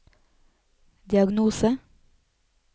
diagnose